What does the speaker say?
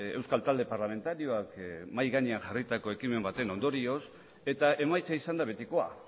euskal talde parlamentarioak mahai gainean jarritako ekimen baten ondorioz eta emaitza izan da betikoa